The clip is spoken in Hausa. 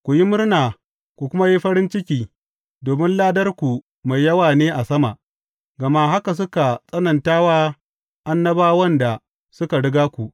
Ku yi murna ku kuma yi farin ciki, domin ladarku mai yawa ne a sama, gama haka suka tsananta wa annabawan da suka riga ku.